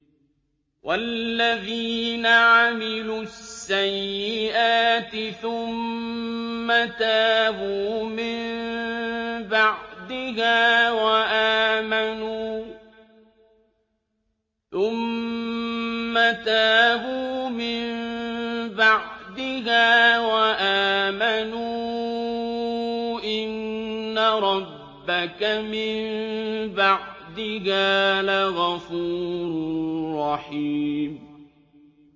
وَالَّذِينَ عَمِلُوا السَّيِّئَاتِ ثُمَّ تَابُوا مِن بَعْدِهَا وَآمَنُوا إِنَّ رَبَّكَ مِن بَعْدِهَا لَغَفُورٌ رَّحِيمٌ